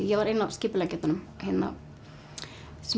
ég var ein af skipuleggjendunum